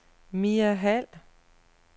Mia Hald